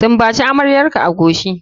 Sumbaci amaryarka a coci.